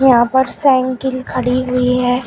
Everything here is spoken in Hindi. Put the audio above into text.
यहां पर साइकिल खड़ी हुई है।